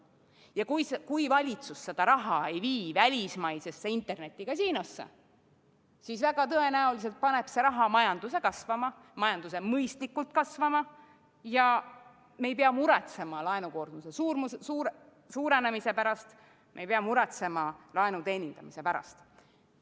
Ja kui valitsus ei vii seda raha välismaisesse internetikasiinosse, siis väga tõenäoliselt paneb see raha majanduse kasvama, mõistlikult kasvama ja me ei pea muretsema laenukoormuse suurenemise pärast, me ei pea muretsema laenu teenindamise pärast.